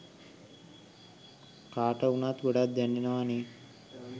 කාට වුණත් ගොඩක් දැනෙනවනෙ.